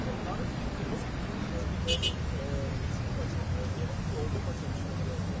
Bu tərəfdən yəni çox vaxtı iş maşının gəlib yəni yolda maşınların dayanmışdım mən.